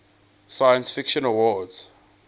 science fiction awards